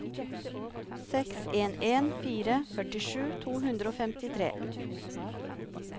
seks en en fire førtisju to hundre og femtitre